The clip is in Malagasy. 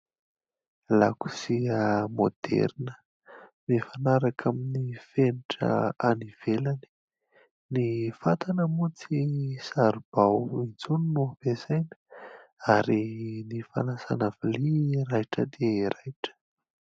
Lakozia maoderina mifanaraka amin'ny fenitra any ivelany. Ny fatana moa tsy saribao intsony no ampiasaina ary ny fanasana vilia raitra dia raitra.